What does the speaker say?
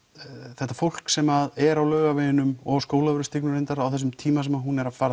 þetta fólk sem er á Laugaveginum og Skólavörðustígnum líka reyndar á þessum tíma sem hún er að fara